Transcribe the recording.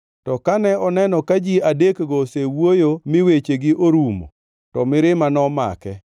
To kane oneno ka ji adekgo osewuoyo mi wechegi orumo, to mirima nomake.